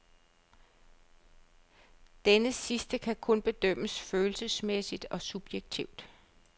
Denne sidste kan kun bedømmes følelsesmæssigt og subjektivt.